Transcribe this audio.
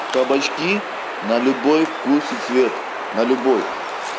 кабачки на любой вкус и цвет на любой